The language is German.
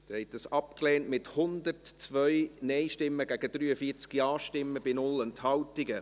Sie haben diesen Antrag abgelehnt, mit 102 Neingegen 43 Ja-Stimmen bei 0 Enthaltungen.